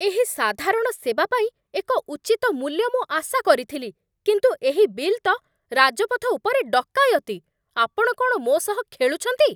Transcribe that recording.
ଏହି ସାଧାରଣ ସେବା ପାଇଁ ଏକ ଉଚିତ ମୂଲ୍ୟ ମୁଁ ଆଶା କରିଥିଲି, କିନ୍ତୁ ଏହି ବିଲ୍ ତ ରାଜପଥ ଉପରେ ଡକାୟତି! ଆପଣ କ'ଣ ମୋ ସହ ଖେଳୁଛନ୍ତି?